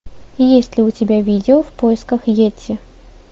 есть ли у тебя видео в поисках йети